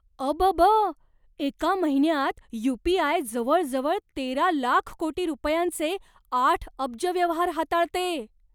अबब! एका महिन्यात यू.पी.आय. जवळजवळ तेरा लाख कोटी रुपयांचे आठ अब्ज व्यवहार हाताळते.